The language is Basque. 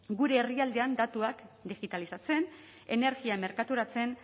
gure herrialdean datuak digitalizatzen energia merkaturatzen